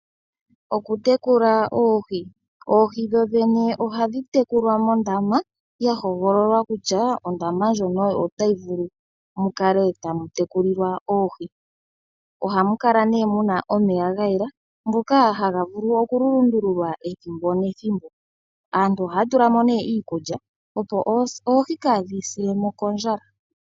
Oohi dhodhene ohadhi tekulilwa mondama ya hogololwa kutya ondama ndjono otayi vulu oku tekulilwa oohi. Ohamu kala nduno omeya ga yela ngono ha ga lundululwa ethimbo nethimbo. Ohadhi pelwa mo nduno iikulya opo kaadhi sile mo kondjala.